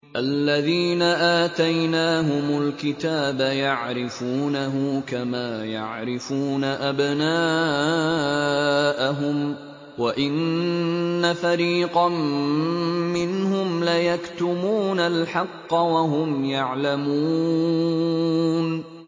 الَّذِينَ آتَيْنَاهُمُ الْكِتَابَ يَعْرِفُونَهُ كَمَا يَعْرِفُونَ أَبْنَاءَهُمْ ۖ وَإِنَّ فَرِيقًا مِّنْهُمْ لَيَكْتُمُونَ الْحَقَّ وَهُمْ يَعْلَمُونَ